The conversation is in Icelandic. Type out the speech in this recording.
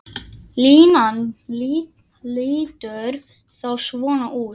Línan lítur þá svona út